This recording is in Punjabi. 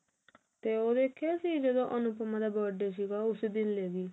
ਤੇ ਉਹ ਵੇਖਿਆ ਸੀ ਜਦੋਂ ਅਨੁਪਮਾ ਦਾ birthday ਸੀਗਾ ਉਸੇ ਦਿਨ ਲੈਗੀ